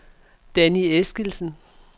Danni Eskildsen